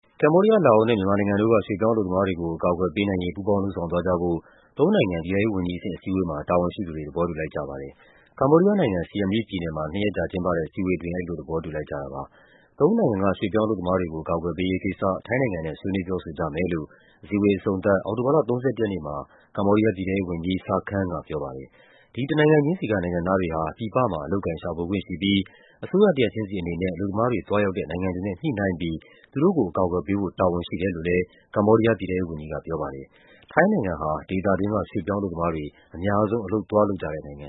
ကမ္ဘောဒီးယား၊ လာအိုနဲ့ မြန်မာနိုင်ငံတို့က ရွှေ့ပြောင်းအလုပ်သမားတွေကို အကာအကွယ်ပေးနိုင်ရေး ပူးပေါင်းလုပ်ဆောင်သွား ကြဖို့ သုံးနိုင်ငံ ပြည်ထဲရေးဝန်ကြီးအဆင့် အစည်းအဝေးမှာ တာဝန်ရှိသူတွေ သဘောတူလိုက်ကြပါတယ်။ ကမ္ဘောဒီးယားနိုင်ငံ၊ Seam Reap ပြည်နယ်မှာ နှစ်ရက်ကြာကျင်းပတဲ့ အစည်းအဝေးအတွင်း အဲဒီလိုသဘောတူလိုက်ကြတာပါ။ သုံးနိုင်ငံက ရွှေ့ပြောင်းအလုပ်သမားတွေကို အကာအကွယ်ပေးရေးကိစ္စ ထိုင်းနိုင်ငံနဲ့ ဆွေးနွေးပြောဆိုကြမယ်လို့ အစည်းအဝေး အဆုံးသတ် အောက်တိုဘာလ ၃၁ ရက်နေ့မှာ ကမ္ဘောဒီးယား ပြည်ထဲရေးဝန်ကြီး Sar Kheng ကပြောပါတယ်။ ဒီတနိုင်ငံချင်းစီက နိုင်ငံသားတွေဟာ ပြည်ပမှာ အလုပ်အကိုင်ရှာဖွေခွင့်ရှိပြီး အစိုးရတရပ်ချင်းစီအနေနဲ့ အလုပ်သမားတွေ သွား ရောက်တဲ့နိုင်ငံတွေနဲ့ ညှိနှိုင်းပြီး သူတို့ကိုအကာအကွယ်ပေးဖို့ တာဝန်ရှိတယ်လို့လည်း ကမ္ဘောဒီးယား ပြည်ထဲရေးဝန်ကြီးက ပြော ပါတယ်။ ထိုင်းနိုင်ငံဟာ ဒေသတွင်းက ရွှေ့ပြောင်းအလုပ်သမားတွေ အများဆုံး အလုပ်သွားလုပ်ကြတဲ့နိုင်င